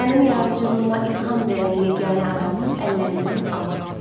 Mənim yaradıcılığıma ilham verən yeganə adamı əllərimdən alma.